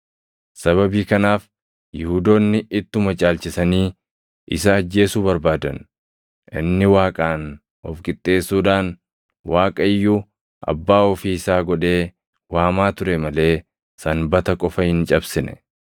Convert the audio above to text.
Sababii kanaaf Yihuudoonni ittuma caalchisanii isa ajjeesuu barbaadan; inni Waaqaan of qixxeessuudhaan Waaqa iyyuu Abbaa ofii isaa godhee waamaa ture malee Sanbata qofa hin cabsine.